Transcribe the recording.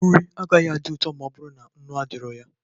Nri agaghị adị ụtọ ma ọ bụrụ na nnu adịghị ya.